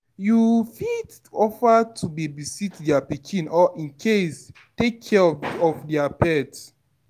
You fit offer to babysit their pikin or in case take care of their pet